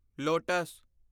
lotus